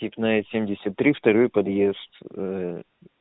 степная семьдесят три второй подъезд